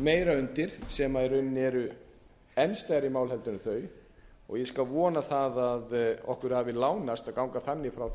meira undir sem í rauninni eru enn stærri mál en þau og ég skal vona það að okkur hafi lánast að ganga þannig frá